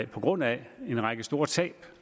på grund af en række store tab